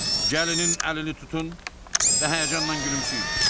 Gəlinin əlini tutun və həyəcanla gülümsəyin.